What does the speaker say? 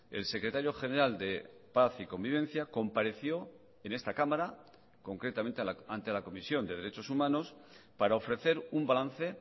el secretario general de paz y convivencia compareció en esta cámara concretamente ante la comisión de derechos humanos para ofrecer un balance